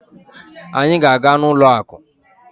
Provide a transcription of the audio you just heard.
Anyị ga-aga n'ụlọ akụ.